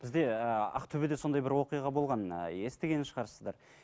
бізде і ақтөбеде сондай бір оқиға болған ыыы естіген шығарсыздар